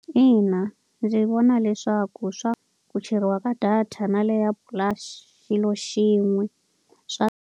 Ina ndzi vona leswaku ku cheriwa ka data na le ya i xilo xin'we .